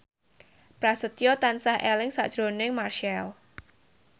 Prasetyo tansah eling sakjroning Marchell